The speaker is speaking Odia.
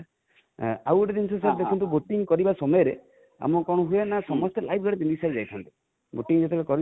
ଆଉ ଗୋଟେ ଜିନଷ sir ଦେଖନ୍ତୁ boating କରିବା ସମୟରେ ଆମକୁ କଣ ହୁଏ ନା ସମସ୍ତେ live jacket ପିନ୍ଧିକି sir ଯାଇଥାନ୍ତି|boating ଯେତେବେଳେ କରିଥାନ୍ତି